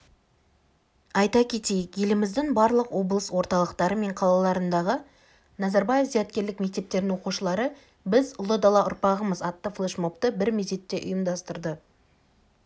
айта кетейік еліміздің барлық облыс орталықтары мен қалаларындағы назарбаев зияткерлік мектептерінің оқушылары біз ұлы дала ұрпағымыз атты флешмобты бір мезетте ұйымдастырды